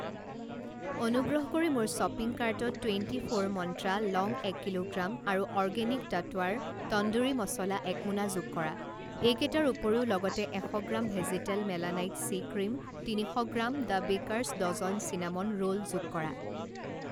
অনুগ্ৰহ কৰি মোৰ শ্বপিং কাৰ্টত টুৱেণ্টি ফ'ৰ মন্ত্ৰা লং এক কিলোগ্ৰাম আৰু অৰ্গেনিক টটৱাৰ তন্দুৰী মছলা এক মোনা যোগ কৰা। এইকেইটাৰ উপৰিও লগতে এশ গ্ৰাম ভেজীতেল মেলানাইট চি ক্ৰীম তিনিশ gram the bakers dozen cinnamon roll যোগ কৰা।